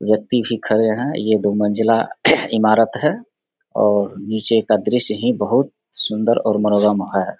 व्यक्ति भी खड़े है ये दो मंज़िला ईमारत है और नीचे का दृश्य ही बहुत सुन्दर और मनोरम है ।